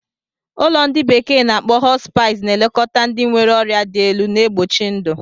Ụlọ ndi bekee na-akpo Hospice na-elekọta ndị nwere ọrịa dị elu, na-egbochi ndụ.